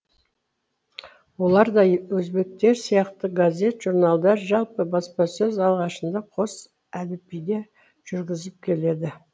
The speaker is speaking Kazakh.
оларда да өзбектер сияқты газет журналдар жалпы баспасөз алғашында қос әліпбиде жүргізіліп келеді